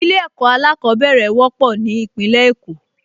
Ilé-ẹ̀kọ́ alákọ̀ọ́bẹ̀rẹ̀ wọ́pọ̀ ní Ìpínlẹ̀ Èkó